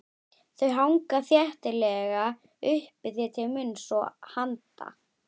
Þau hanga þéttlega uppi þér til munns og handa.